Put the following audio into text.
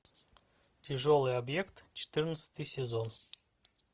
тяжелый объект четырнадцатый сезон